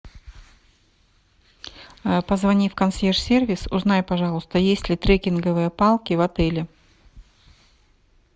позвони в консьерж сервис узнай есть ли трекинговые палки в отеле